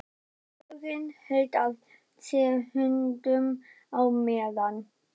Vörðurinn hélt að sér höndum á meðan